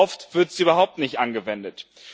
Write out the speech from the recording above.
oft wird sie überhaupt nicht angewendet.